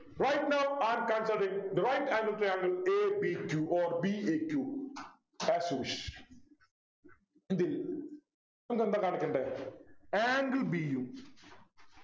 Right now I can direct right angle triangle a b q or b a q As you wish എന്ത് ചെയ്യും നമുക്കെന്താ കാണിക്കണ്ടേ angle b യും